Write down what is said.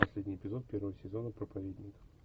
последний эпизод первого сезона проповедник